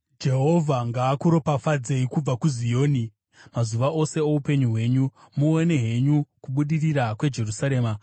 Jehovha ngaakuropafadzei kubva kuZioni, mazuva ose oupenyu hwenyu; muone henyu kubudirira kweJerusarema,